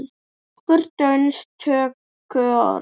Nokkur dönsk tökuorð